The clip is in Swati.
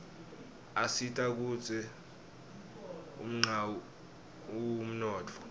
asita kutsz unqawi umnotfo